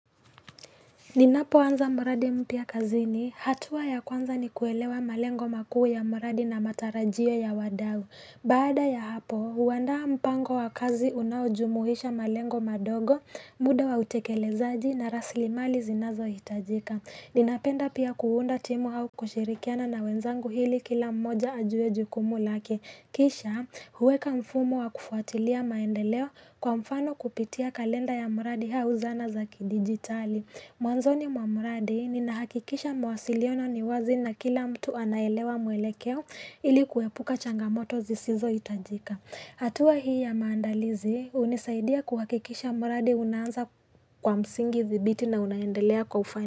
Ninapoanza muradi mpya kazini, hatua ya kwanza ni kuelewa malengo makuu ya mradi na matarajio ya wadau. Baada ya hapo, huandaa mpango wa kazi unaojumuisha malengo madogo, muda wa utekelezaji na rasilimali zinazohitajika. Ninapenda pia kuunda timu au kushirikiana na wenzangu ili kila mmoja ajue jukumu lake. Kisha, huweka mfumo wa kufuatilia maendeleo kwa mfano kupitia kalenda ya mradi au zana za kidigitali. Mwanzoni mwa mradi ninahakikisha mawasiliano ni wazi na kila mtu anaelewa mwelekeo ili kuepuka changamoto zisizohitajika. Hatua hii ya maandalizi hunisaidia kuhakikisha mradi unaanza kwa msingi dhibiti na unaendelea kwa ufan.